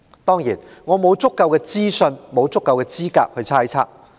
當然，我沒有足夠資訊或資格作出猜測。